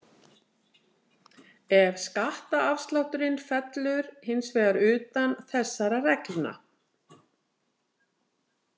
Ef skattaaflátturinn fellur hins vegar utan þessara reglna.